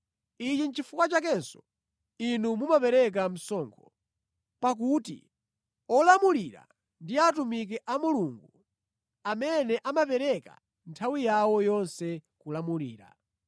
Ichi nʼchifukwa chakenso inu mumapereka msonkho. Pakuti olamulira ndi atumiki a Mulungu amene amapereka nthawi yawo yonse kulamulira.